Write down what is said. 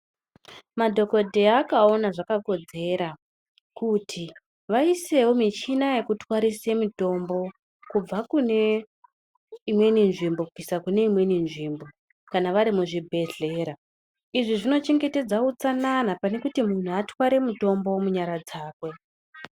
Madhokodheya akaona zvakakodzera kuti vaisewo muchina yekutwarise mitombo kubva kune imweni nzvimbo kubvisa kune imweni nzvimbo kana vari muzvibhedhleya izvi zvinochengetedza utsanana pane kuti muntu atware mutombo nyaradzakwe